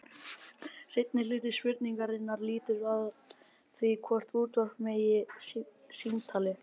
Seinni hluti spurningarinnar lýtur að því hvort útvarpa megi símtali.